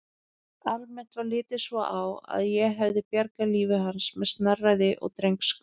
Almennt var litið svo á að ég hefði bjargað lífi hans með snarræði og drengskap.